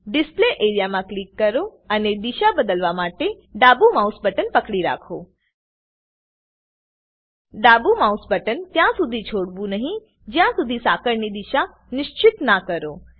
display area માં click કરો અને દિશા બદલવા માટે ડાબું માઉસ બટન પકડી રાખો ડાબું માઉસ બટન ત્યાં સુધી છોડવું નહી જ્યાં શુધી સાંકળની દિશા નિશ્ચિતના કરો